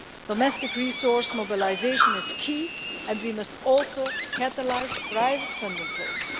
Domestic resource mobilisation is key, and we must also catalyse private funding flows.